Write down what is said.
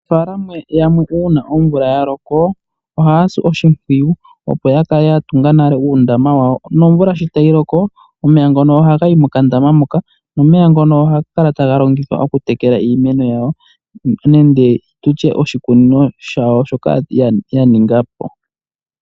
Yamwe uuna omvula ya loko ohaya si oshimpwiyu opo ya kale ya tunga nale uundama wawo. Nomvula sho tayi loko, omeya ngono ohaga yi mokandaama moka nomeya ngono ohaga kala taga longithwa okutekela iimeno yawo. Nenge tutye oshikunino shawo shoka ya ninga po.